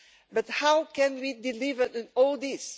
But how can we deliver all this?